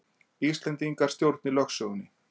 Íslendingar stjórni lögsögunni